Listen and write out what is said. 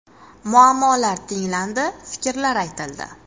Muammolar tinglandi, fikrlar aytildi.